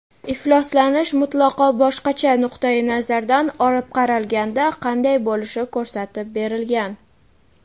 ifloslanish mutlaqo boshqacha nuqtayi nazardan olib qaralganda qanday bo‘lishi ko‘rsatib berilgan.